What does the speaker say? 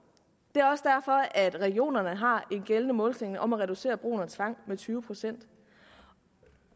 er også derfor at regionerne har en gældende målsætning om at reducere brugen af tvang med tyve procent